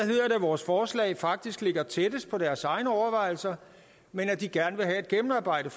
vores forslag faktisk ligger tættest på deres egne overvejelser men at de gerne vil have et gennemarbejdet